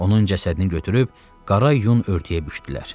Onun cəsədini götürüb qara yun örtüyə bükdülər.